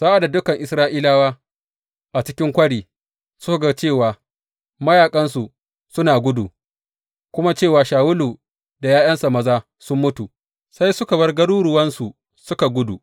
Sa’ad da dukan Isra’ilawa a cikin kwari suka ga cewa mayaƙansu suna gudu, kuma cewa Shawulu da ’ya’yansa maza sun mutu, sai suka bar garuruwansu suka gudu.